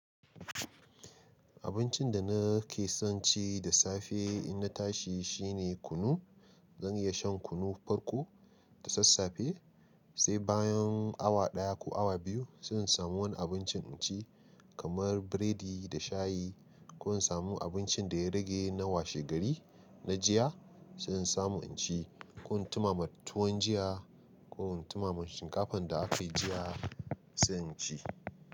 Abincin da nake son ci da safe in na tashi shine kunu. Zan iya shan kunu farko da sassafe, sai bayan awa ɗaya ko awa biyu zan samu wani abincin in ci kamar burodi da shayi. Ko in samu abincin da ya rage na washe gari na jiya, sai in samu in ci. Ko in tumama tuwon jiya ko in tumama shinkafan da aka yi jiya, sai in ci.